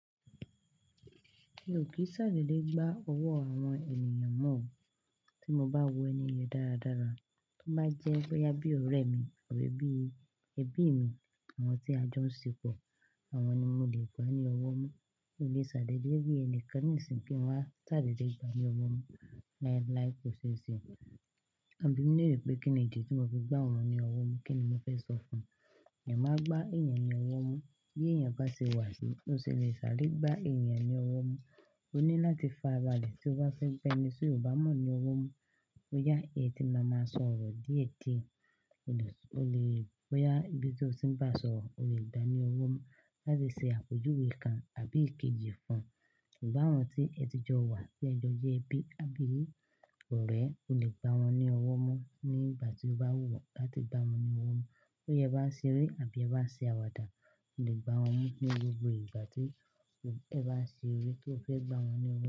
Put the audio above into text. Mi ò kí n ṣàdédé gbá ọwọ́ àwọn ènìyàn mọ́ o. Tí mo bá wo ẹni yẹn dáradára, tó bá jẹ́ bóyá bí ọ̀rẹ́ mi àbí ẹbí mi, àwọn tí a jọ ń ṣepo, àwọn ni mo lè gbá ní ọwọ́ mu. Mi ò lè ṣàdédé bí ẹni kan níṣìńyi kí n wá ṣàlélè gbá ní ọwọ́ mu láì láì kò ṣe ṣe. Ẹ bi mi lérè pé kíni ìdí tí tí mo fi gbá òun ní ọwọ́ mu kíni mo fẹ́ sọ fún ẹ máa gbá èèyàn ní ọwọ́ mú. Bí èèyàn bá ṣe wà sí, ó ṣe lè sáré gbà èèyàn ní ọwọ́ mú. Ó ní láti fa abale tí ó bá fẹ́ gbẹ́ni tí ò bá mọ̀ ní ọwọ́ mú. Bóyá ẹti máa ma sọ ọ̀rọ̀ déde, ó lè, bóyá ibi tí ó sì ń bá sọ̀rọ̀, o lè gbá ní ọwọ́ mú láti ṣe àpèjúwe kan àbí ìkejì fún ṣùgbọ́n àwọn tí ẹ ti jọ wà sí ẹ̀jọ jẹ́ bí àbí ọ̀rẹ́, o lè gbá wọn ní ọwọ́ mú ní ìgbà tí o bá wù ọ́ láti gbá wọn ní ọwọ́ mú. Bóyá ẹ bá ń ṣeré àbí ẹ bá ń ṣe àwàdà, o lè gbá wọn mú ní gbogbo ìgbà tí ẹ bá ń ṣe eré tí o fẹ́ gbá wọn ní ọwọ́.